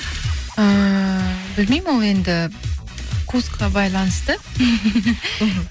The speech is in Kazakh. ыыы білмеймін ол енді вкусқа байланысты мхм